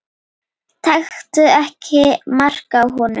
Taktu ekki mark á honum.